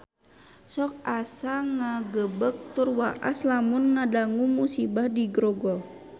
Sok asa ngagebeg tur waas lamun ngadangu musibah di Grogol